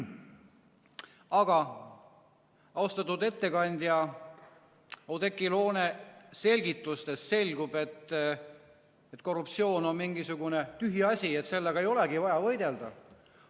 Aga austatud ettekandja Oudekki Loone selgitustest selgub, et korruptsioon on mingisugune tühi asi, sellega ei olegi vaja võidelda.